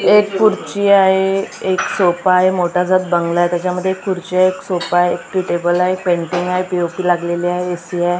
एक खुर्ची आहे एक सोपा आहे मोठासा बंगला आहे त्याच्यामध्ये एक खुर्ची आहे एक सोपा आहे एक टी_टेबल आहे पेन्टिंग आहे पी_ओ_पी लागलेली आहे ए_सी आहे.